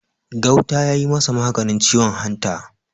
Gauta ya yi masa maganin ciwon hanta